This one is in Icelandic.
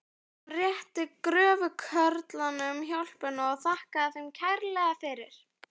Hann réttir gröfukörlunum hjálminn og þakkar þeim kærlega fyrir lánið.